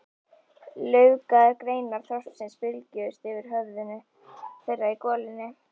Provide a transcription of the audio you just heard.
Laufgaðar greinar þorpsins bylgjuðust yfir höfðum þeirra í golunni.